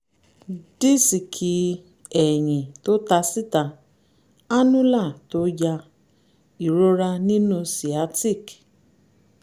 dísíìkì ẹ̀yìn tó ta síta annular tó ya ìrora nínú sciatic